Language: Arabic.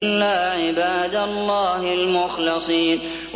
إِلَّا عِبَادَ اللَّهِ الْمُخْلَصِينَ